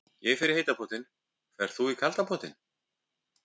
Ég fer í heita pottinn. Ferð þú í kalda pottinn?